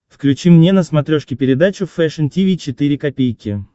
включи мне на смотрешке передачу фэшн ти ви четыре ка